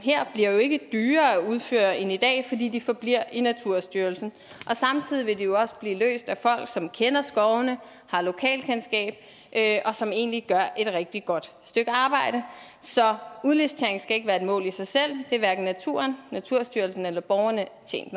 bliver jo ikke dyrere at udføre end i dag fordi de forbliver i naturstyrelsen og samtidig vil de jo også blive løst af folk som kender skovene har lokalkendskab og som egentlig gør et rigtig godt stykke arbejde så udlicitering skal ikke være et mål i sig selv det er hverken naturen naturstyrelsen eller borgerne